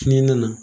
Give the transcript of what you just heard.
Ni n nana